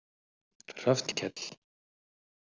Hrafnkell